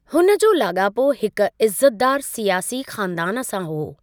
हुन जो लाॻापो हिकु इज़्ज़तदार सियासी खानदान सां हो।